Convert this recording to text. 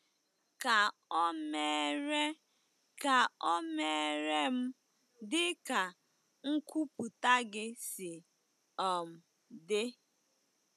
Ka o meere Ka o meere m dị ka nkwupụta gị si um dị.”